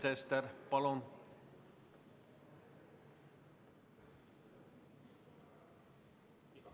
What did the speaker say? Sven Sester, palun!